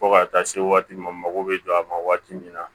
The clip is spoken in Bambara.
Fo ka taa se waati min n mago bɛ jɔ a ma waati min na